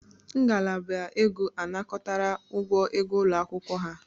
Ngalaba ego anakọtara ụgwọ ego ụlọ akwụkwọ ha